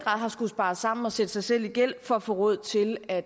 har skullet spare sammen og sætte sig selv i gæld for at få råd til at